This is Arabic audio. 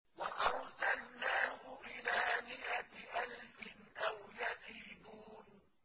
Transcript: وَأَرْسَلْنَاهُ إِلَىٰ مِائَةِ أَلْفٍ أَوْ يَزِيدُونَ